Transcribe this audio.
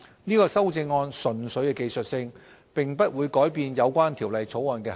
這項修正案純粹技術性，並不會改變有關《條例草案》的涵義。